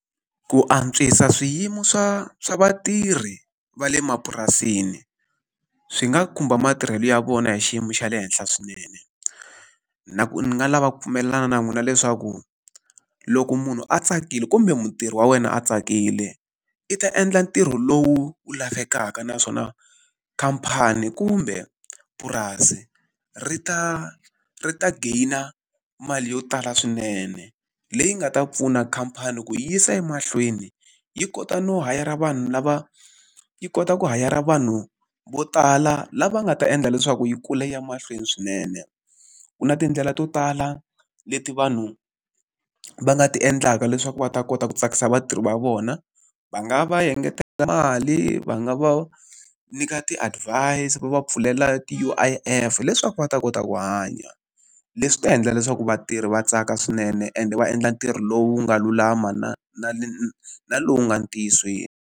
Ku antswisa swiyimo swa swa vatirhi va le mapurasini, swi nga khumba matirhelo ya vona hi xiyimo xa le henhla swinene. Na ku ni nga lava ku pfumelelana na n'wina leswaku, loko munhu a tsakile kumbe mutirhi wa wena a tsakile, i ta endla ntirho lowu wu lavekaka naswona khamphani kumbe purasi, ri ta ri ta geyina mali yo tala swinene. Leyi nga ta pfuna khamphani ku yisa emahlweni, yi kota no hayara vanhu lava yi kota ku hayara vanhu vo tala lava nga ta endla leswaku yi kula ya mahlweni swinene. Ku na tindlela to tala leti vanhu va nga ti endlaka leswaku va ta kota ku tsakisa vatirhi va vona, va nga va engetela mali, va nga va nyika ti-advise, va pfulela ti-U_I_F leswaku va ta kota ku hanya. Leswi ta endla leswaku vatirhi va tsaka swinene, ende va endla ntirho lowu nga lulama na na na na lowu nga ntiyisweni.